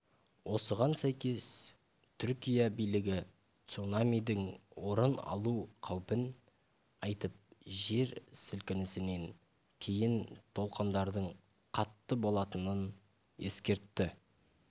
осыған сәйкес түркия билігі цунамидің орын алу қаупін айтып жер сілкінісінен кейін толықындардың қатты болатынын ескертті